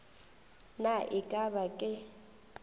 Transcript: na e ka ba ke